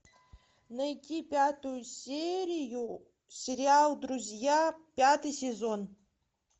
найти пятую серию сериал друзья пятый сезон